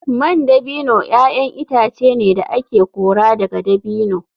Man dabino ‘ya’yan itace ne da ake kora daga dabino.